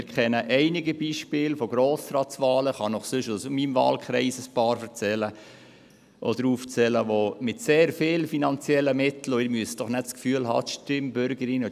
Wir kennen einige Beispiele von Grossratswahlen – ich könnte Ihnen ein paar aus meinem Wahlkreis aufzählen –, wo mit sehr vielen finanziellen Mitteln viele grosse, farbige Inserate geschaltet wurden.